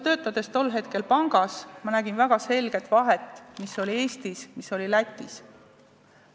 Töötades tol hetkel pangas, ma nägin väga selget vahet, mis oli Eestis ja mis oli Lätis.